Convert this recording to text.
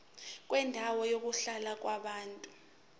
kwendawo yokuhlala yabantu